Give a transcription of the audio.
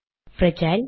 - Brazil